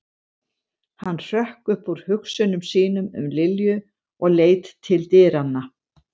Hann hrökk upp úr hugsunum sínum um Lilju og leit til dyranna.